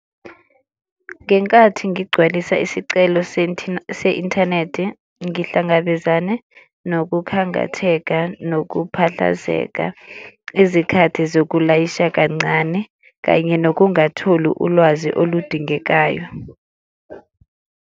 Ngenkathi ngigcwalisa isicelo se-inthanethi ngihlangabezane nokukhangatheka, nokukhathazeka, izikhathi zokulayisha kancane kanye ngokungatholi ulwazi oludingekayo.